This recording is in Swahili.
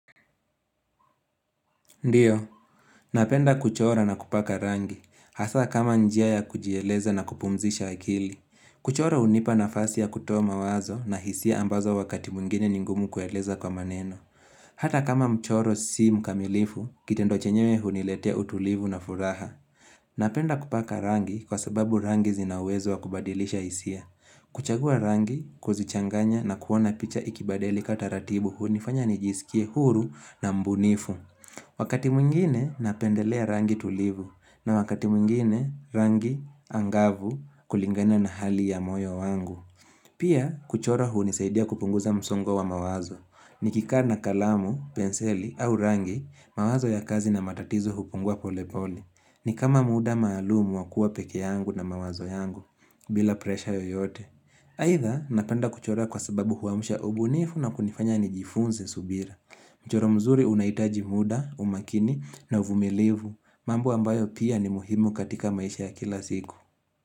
Ndiyo, napenda kuchora na kupaka rangi, hasa kama njia ya kujieleza na kupumzisha akili. Kuchora unipa na fasi ya kutoa mawazo na hisia ambazo wakati mwingine ni ngumu kueleza kwa maneno. Hata kama mchoro si mkamilifu, kitendo chenyewe huniletea utulivu na furaha. Napenda kupaka rangi kwa sababu rangi zina uwezo wakubadilisha hisia. Kuchagua rangi, kuzichanganya na kuona picha ikibadilika taratibu hunifanya nijisikie huru na mbunifu. Wakati mwingine napendelea rangi tulivu na wakati mwingine rangi angavu kulingana na hali ya moyo wangu. Pia kuchora unisaidia kupunguza msongo wa mawazo. Nikikaa na kalamu, penseli au rangi, mawazo ya kazi na matatizo hupungua pole pole. Ni kama muda maalumu wakuwa peke yangu na mawazo yangu, bila presha yoyote. Haidha napenda kuchora kwa sababu huamsha ubunifu na kunifanya nijifunze subira. Mchoro mzuri unaitaji muda, umakini na uvumilivu, mambo ambayo pia ni muhimu katika maisha ya kila ziku.